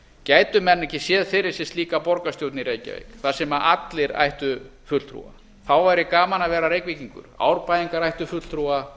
gætu menn ekki séð fyrir sér slíka borgarstjórn í reykjavík þar sem allir ættu fulltrúa þá væri gaman að vera reykvíkingur árbæingar ættu fulltrúa